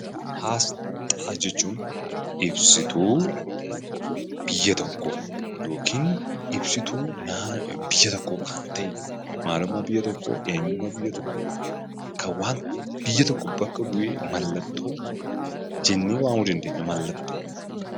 Asxaa jechuun ibsituu biyya tokkoo yookiin ibsituu biyya tokkoo kan ta'e, maalummaa biyya tokkoo, eenyummaa biyya tokkoo; kan biyya tokko bakka bu'ee mallattoo jennee waamuu dandeenya.